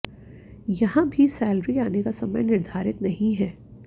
यहां भी सेलरी आने का समय निर्धारित नहीं है